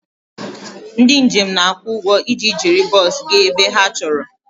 Ndị njem na-akwụ ụgwọ iji jiri bọs gaa ebe ha chọrọ